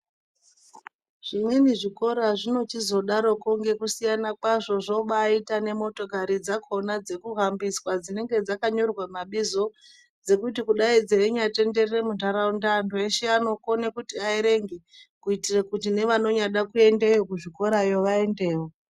Zvimweni zvikora zvinochizodaroko ngekusiyana kwazvo zvobaaitaa nemotokari dzakona dzekuhambiswaa dzinonga dzakanyorwaa mabizo dzokuti kudai dzeinyatenderere munharaunda vantu veshe vanokona kuti aerenge kuitire kuti nevanyangoda kuyendeyo kuzvikorayo vaendevo.